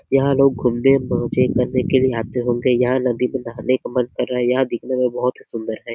यहाँ लोग घूमने मज़े करने के लिए आते होंगे यहाँ नदी में नहाने का मन कर रहा है यह मंदिर बहोत सूंदर है।